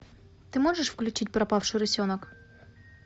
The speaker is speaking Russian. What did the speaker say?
ты можешь включить пропавший рысенок